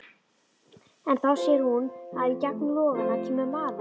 En þá sér hún að í gegnum logana kemur maður.